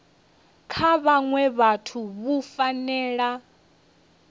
kha vhaṅwe vhathu vhu fanela